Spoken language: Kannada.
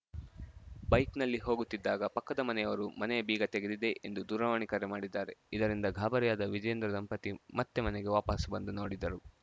ಬೈಕ್‌ನಲ್ಲಿ ಹೋಗುತ್ತಿದ್ದಾಗ ಪಕ್ಕದ ಮನೆಯವರು ಮನೆಯ ಬೀಗ ತೆಗೆದಿದೆ ಎಂದು ದೂರವಾಣಿ ಕರೆ ಮಾಡಿದ್ದಾರೆ ಇದರಿಂದ ಗಾಬರಿಯಾದ ವಿಜೇಂದ್ರ ದಂಪತಿ ಮತ್ತೆ ಮನೆಗೆ ವಾಪಾಸು ಬಂದು ನೋಡಿದರು